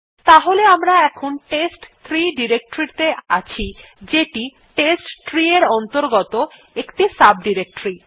তাহলে আমরা এখন টেস্ট3 ডিরেক্টরী ত়ে আছি যেটি টেস্টট্রি এর অন্তর্গত একটি সাব ডিরেক্টরী